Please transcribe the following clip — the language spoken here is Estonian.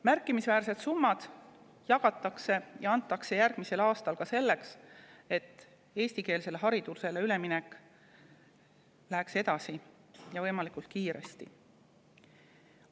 Märkimisväärsed summad antakse järgmisel aastal ka selleks, et eestikeelsele haridusele üleminek läheks edasi, ja võimalikult kiiresti.